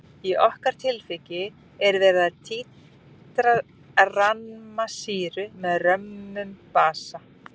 Í okkar tilviki er verið að títra ramma sýru með römmum basa.